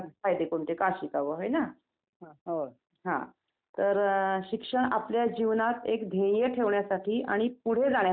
मग ते गर्दी वगैरे खूप असते ते यात्रा म्हणतात कारण चैत्र महिन्यात हर एक वर्षी तिथे यात्रा असतें .